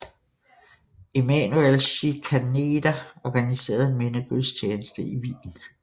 Emanuel Schikaneder organiserede en mindegudstjeneste i Wien